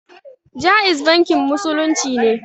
Jaiz bankin musulunci ne